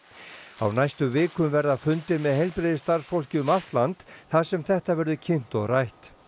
á næstu vikum verða fundir með heilbrigðisstarfsfólki um allt land þar sem þetta verður kynnt og rætt